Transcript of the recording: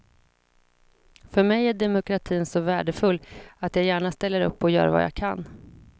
För mig är demokratin så värdefull, att jag gärna ställer upp och gör vad jag kan.